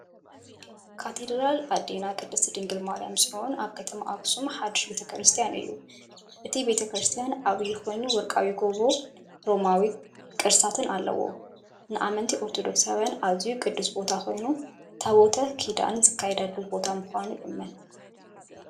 ካቴድራል ኣዴና ቅድስት ድንግል ማርያም ጽዮን ኣብ ከተማ ኣኽሱም ሓድሽ ቤተ ክርስቲያን እዩ። እቲ ቤተክርስትያን ዓቢ ኮይኑ፡ ወርቃዊ ጎቦን ሮማናዊ ቅስትታትን ኣለዎ። ንኣመንቲ ኦርቶዶክሳውያን ኣዝዩ ቅዱስ ቦታ ኮይኑ፡ ታቦት ኪዳን ዝካየደሉ ቦታ ምዃኑ ይእመን።